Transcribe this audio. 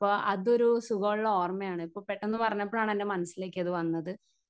Speaker 1 പ്പ അതൊരു സുഖോള്ള ഓർമ്മയാണ് പ്പ പെട്ടെന്ന് പറഞ്ഞപ്പഴാണ് എൻ്റെ മനസ്സിലേക്കത് വന്നത്.